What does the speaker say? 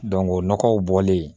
o nɔgɔw bɔlen